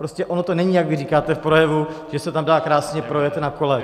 Prostě ono to není, jak vy říkáte v projevu, že se tam dá krásně projet na kole.